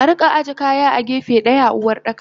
Arika aje kaya a gefe daya a Uwardaka.